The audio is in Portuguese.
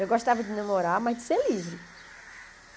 Eu gostava de namorar, mas de ser livre.